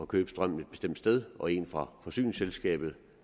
købe strømmen et bestemt sted og en fra forsyningsselskabet